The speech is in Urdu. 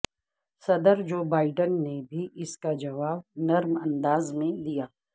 صدر جو بائیڈن نے بھی اس کا جواب نرم انداز میں دیا